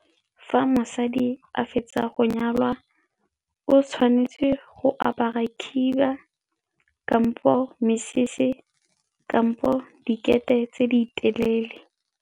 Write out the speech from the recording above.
Fa mosadi a fetsa go nyalwa, o tshwanetse go apara khiba kampo mesese kampo dikete tse di telele.